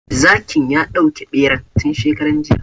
Zakin ya dauke ɓeran tun shekaran jiya